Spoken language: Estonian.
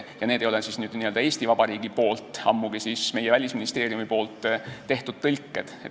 Need ei ole n-ö Eesti Vabariigi poolt, ammugi mitte Välisministeeriumi tehtud tõlked.